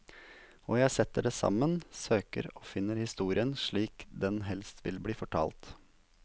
Og jeg setter det sammen, søker og finner historien slik den helst vil bli fortalt.